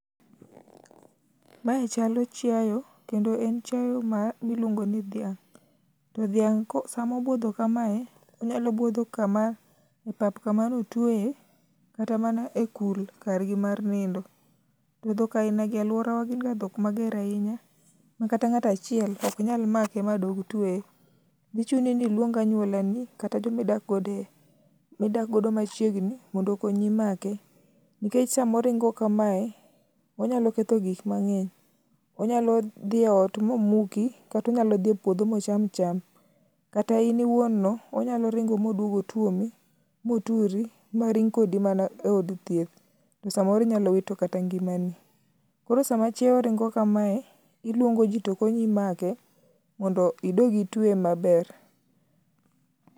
Mae chalo chiayo, kendo en chiayo mi ma iluongo ni dhiang'. To dhiang' ko sama obuodho kamae onyalo buodho e pap kama ne otweye kata mana e kul kargi mar nino. To dhok ainagi e alworawa gin ga dhok mager ahinya ma kata ng'at achiel ok nyal make ma dog tweye. Dhi chuni ni iluong anyualani akata joma idak godo e midak godo machiegni mondo okonyi make. Nikech sama oringo kamae, onyalo ketho gik mang'eny. Onyalo dhi e ot momuki kata onyalo dhi e puodho ma ocham cham. Kata in iwuono onyalo ringo moduog otuomi moturi ma ring kodi mana e od thieth, to samoro inyalo wito kata ngimani. Koro sama chiayo ringo kamae, iluongo ji to konyi make mondo idog itweye maber.